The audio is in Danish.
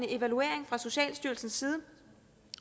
evaluering af socialstyrelsen